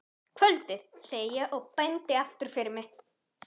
Kvöldið, segi ég og bendi aftur fyrir mig.